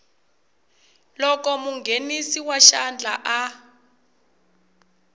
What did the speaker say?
loko munghenisi wa xandla a